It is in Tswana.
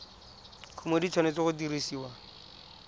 kumo di tshwanetse go dirisiwa